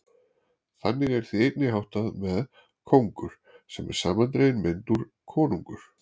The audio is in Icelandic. Þannig er því einnig háttað með kóngur, sem er samandregin mynd úr konungur.